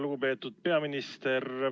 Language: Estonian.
Lugupeetud peaminister!